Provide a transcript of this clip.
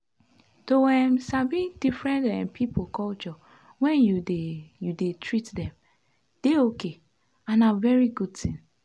to um sabi different um people culture when you dey you dey treat them dey okay and na very good thing.